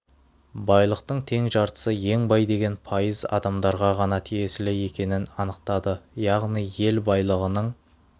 байлықтың тең жартысы ең бай деген пайыз адамдарға ғана тиесілі екенін анықтады яғни ел байлығының